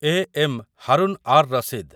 A. M. Harun ar Rashid